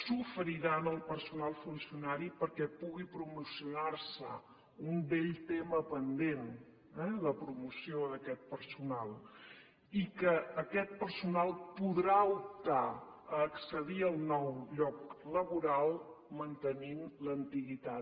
s’oferirà al personal funcionari perquè pugui promocionar se un vell tema pendent eh la promoció d’aquest personal i que aquest personal podrà optar a accedir al nou lloc laboral mantenint l’antiguitat